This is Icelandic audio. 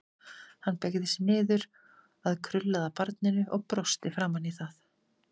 Hann beygði sig niður að krullaða barninu og brosti framan í það.